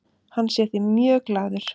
Hann sé því mjög glaður.